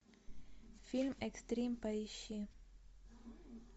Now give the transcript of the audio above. фильм экстрим поищи